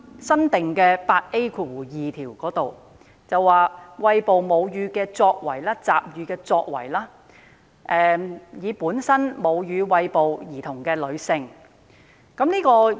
新訂第 8A2 條涵蓋餵哺母乳、集乳的作為，以及餵哺母乳的女性。